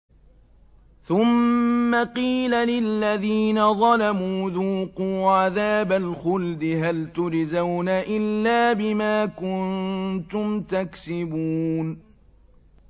ثُمَّ قِيلَ لِلَّذِينَ ظَلَمُوا ذُوقُوا عَذَابَ الْخُلْدِ هَلْ تُجْزَوْنَ إِلَّا بِمَا كُنتُمْ تَكْسِبُونَ